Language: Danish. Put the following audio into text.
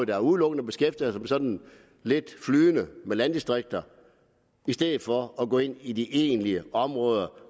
der udelukkende beskæftiger sig sådan lidt flydende med landdistrikter i stedet for at lade det gå ind i de egentlige områder